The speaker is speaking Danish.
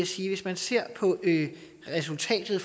sige at hvis man ser på resultatet